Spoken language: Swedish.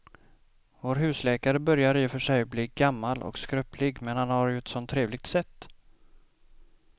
Vår husläkare börjar i och för sig bli gammal och skröplig, men han har ju ett sådant trevligt sätt!